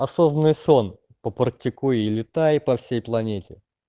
осознанный сон попрактикуй и летай по всей планете